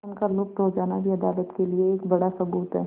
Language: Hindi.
उनका लुप्त हो जाना भी अदालत के लिए एक बड़ा सबूत है